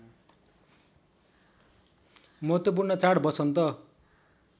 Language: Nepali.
महत्त्वपूर्ण चाड वसन्त